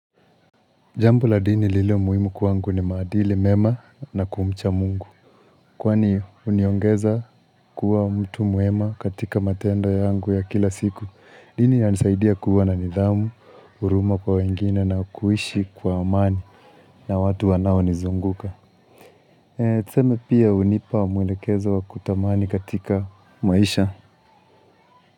Jambo la dini lililo muhimu kwangu ni maadili mema na kumcha mungu. Kwani uniongeza kuwa mtu mwema katika matendo yangu ya kila siku. Dini yanisaidia kuwa na nidhamu, uruma kwa wengine na kuishi kwa amani. Na watu wanao nizunguka. Tuseme pia unipa mwelekezo wa kutamani katika maisha.